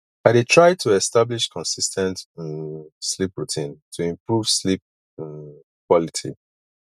i dey try to establish consis ten t um sleep routine to improve sleep um quality